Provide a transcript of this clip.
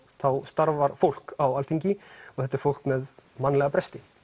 starfar fólk á Alþingi og þetta er fólk með mannlega bresti